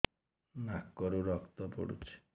ନାକରୁ ରକ୍ତ ପଡୁଛି